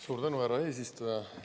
Suur tänu, härra eesistuja!